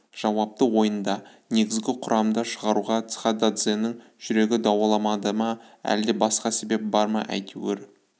жауапты ойында негізгі құрамда шығаруға цхададзенің жүрегі дауаламады ма әлде басқа себеп бар ма әйтеуір